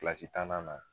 Kilasi tannan na